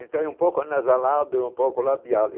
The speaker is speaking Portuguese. Então é um pouco anasalado, é um pouco labial.